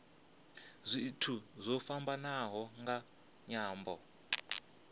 zwithu zwo fhambanaho nga nyambo